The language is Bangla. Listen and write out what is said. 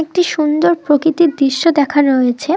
একটি সুন্দর প্রকৃতির দৃশ্য দেখানো হয়েছে।